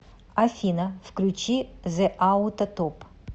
афина включи зэ ауто топ